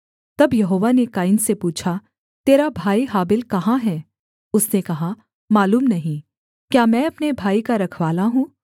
तब यहोवा ने कैन से पूछा तेरा भाई हाबिल कहाँ है उसने कहा मालूम नहीं क्या मैं अपने भाई का रखवाला हूँ